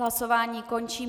Hlasování končím.